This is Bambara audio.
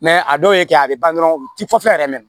a dɔw ye kɛ a bɛ ban dɔrɔn u ti fɔ fɛn yɛrɛ mɛna